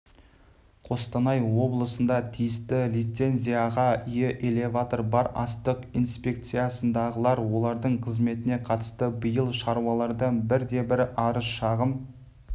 қостанай облысында тиісті лицензияға ие элеватор бар астық инспекциясындағылар олардың қызметіне қатысты биыл шаруалардан бірде-бір арыз-шағым